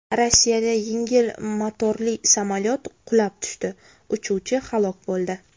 Rossiyada yengil motorli samolyot qulab tushdi, uchuvchi halok bo‘ldi.